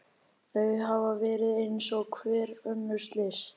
Þau hafa verið eins og hver önnur slys.